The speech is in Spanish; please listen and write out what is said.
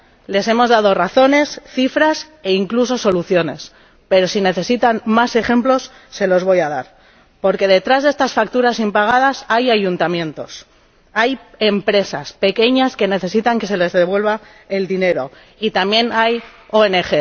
Les hemos dado razones, cifras e incluso soluciones, pero si necesitan más ejemplos se los voy a dar. Porque detrás de estas facturas impagadas hay ayuntamientos, hay empresas pequeñas que necesitan que se les devuelva el dinero, y también hay ONG.